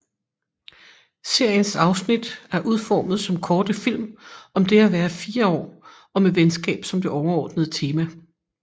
Seriens afsnit er udformet som korte film om det at være fire år og med venskab som det overordnede tema